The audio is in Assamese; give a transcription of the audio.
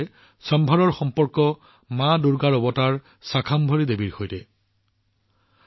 একেদৰে সম্ভাৰ মা দুৰ্গাৰ অৱতাৰ শাকম্ভৰী দেৱীৰ সৈতেও সম্পৰ্কিত